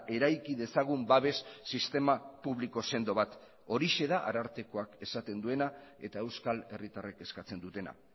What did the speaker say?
eraiki dezagun babes sistema publiko sendo bat horixe da arartekoak esaten duena eta euskal herritarrek eskatzen dutena